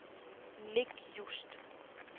Nick Just